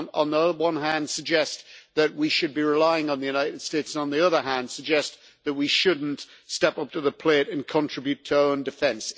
We can't on the one hand suggest that we should be relying on the United States and on the other hand suggest that we shouldn't step up to the plate and contribute to our own defence.